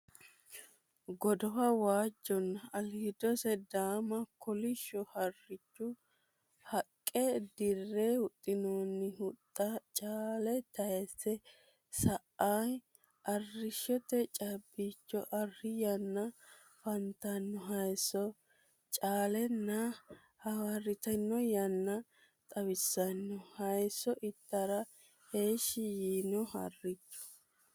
Godowa waajjonna aliidosi daama kolishsho harricho, haqqe dirre huxxinoonni huxxa, caale tayiise sa'inoha arrishshote caabbicho, arri yanna afantanno hayisso, caalenna hawarritinno yanna xawissanno. Hayiisso itara heeshsho yiino harricho.